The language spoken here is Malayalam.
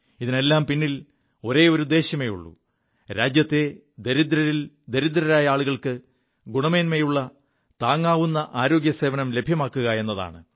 ഇതിനെല്ലാം പിിൽ ഒരേയൊരു ഉദ്ദേശ്യമേയുള്ളൂ രാജ്യത്തെ ദരിദ്രരിൽ ദരിദ്രരായ ആളുകൾക്ക് ഗണമേന്മയുള്ള താങ്ങാവു ആരോഗ്യ സേവനം ലഭ്യമാക്കുക എതാണ്